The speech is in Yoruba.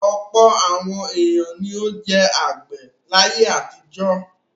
Ọ̀pọ̀ àwọn ènìyàn ni ó jẹ́ àgbẹ̀ láyé àtijọ́.